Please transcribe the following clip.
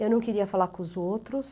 Eu não queria falar com os outros.